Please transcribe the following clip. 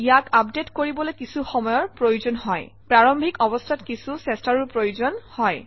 ইয়াক আপডেট কৰিবলৈ কিছু সময়ৰ প্ৰয়োজন হয় প্ৰাৰম্ভিক অৱস্থাত কিছু চেষ্টাৰো প্ৰয়োজন হয়